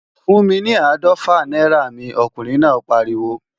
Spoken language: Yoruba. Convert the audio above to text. Fún mi ní áàdọ́fà náírà mi, ọkùnrin náà pariwo!